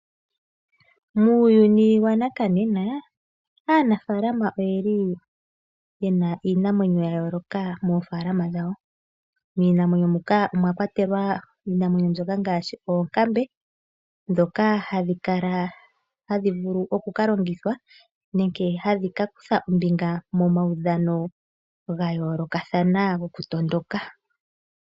Muuyuni wanakanena aanafalama oye na iinamwenyo ya yooloka moofaalama dhawo. Miinamwenyo muka omwa kwatelwa oonkambe, ndhoka hadhi vulu oku ka longithwa nenge hadhi ka kutha ombinga momaudhano ga yoolokathana gokutondoka.